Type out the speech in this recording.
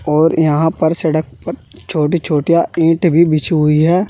और यहां सड़क पर छोटी छोटी ईट भी बिछी हुई है।